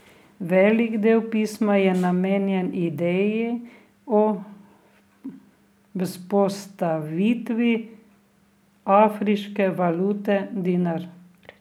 Velik del pisma je namenjen ideji o vzpostavitvi afriške valute dinar.